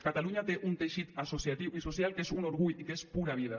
catalunya té un teixit associatiu i social que és un orgull i que és pura vida